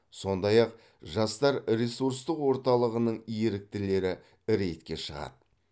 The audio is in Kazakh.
сондай ақ жастар ресурстық орталығының еріктілері рейдке шығады